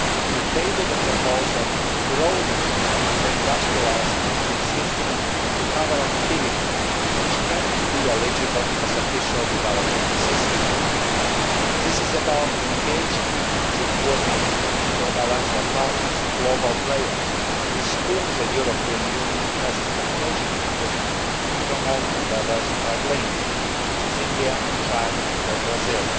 We tabled a proposal broadening the industrialised countries' instrument to cover activities which cannot be eligible as official development assistance. This is about engaging with important bilateral partners and global players with whom the European Union has a strategic interest in promoting diversified links, such as India, China or Brazil.